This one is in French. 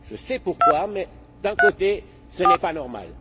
Je sais pourquoi mais, d'un côté, ce n'est pas normal.